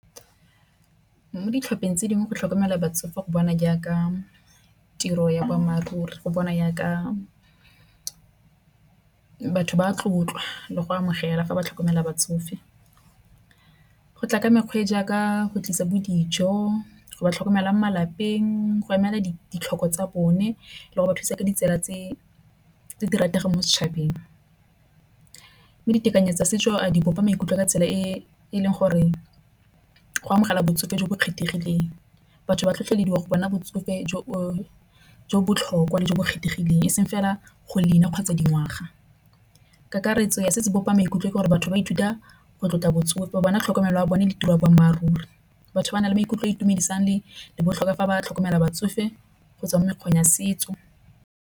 Mo ditlhopheng tse dingwe go tlhokomela batsofe go bona jaaka tiro ya boammaaruri, go bona jaaka batho ba tlotla le go amogela fa ba tlhokomela batsofe. Go tla ka mekgwe jaaka go tlisa bo dijo go ba tlhokomela mo malapeng go emela ditlhoko tsa bone le go ba thusa ka ditsela tse di rategang mo setšhabeng. Ditekanyetso tsa setso di bopa maikutlo a ka tsela e e leng gore go amogela botsofe jo bo kgethegileng. Batho ba tlhotlhelediwa go bona botsofe jo botlhokwa le jo bo kgethegileng eseng fela go leina kgwa tsa dingwaga. Kakaretso ya setso bopa maikutlo ke gore batho ba ithuta go tlotla botsofe bana tlhokomelo a bone le tiro ya boammaaruri. Batho ba na le maikutlo a itumedisang le botlhokwa fa ba tlhokomela batsofe go tswa mo mekgweng ya setso.